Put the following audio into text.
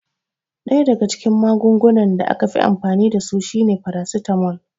Ɗaya daga cikin magungunan da aka fi amfani dasu shine farasitamol